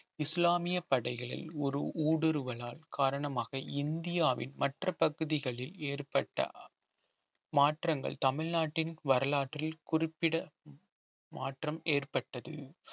இஸ்லாமிய படைகளில் ஒரு ஊடுருவலால் காரணமாக இந்தியாவின் மற்ற பகுதிகளில் ஏற்பட்ட மாற்றங்கள் தமிழ்நாட்டின் வரலாற்றில் குறிப்பிட மாற்றம் ஏற்பட்டது